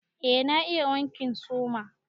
Eh na iya wankin suma.